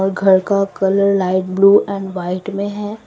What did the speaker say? घर का colour light blue and white में है।